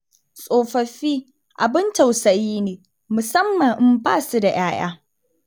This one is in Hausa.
Tsofaffi abin tausayi ne musamman idan ba su da 'ya'ya